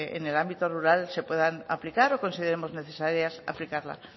en el ámbito rural se puedan aplicar o consideremos necesario aplicarlas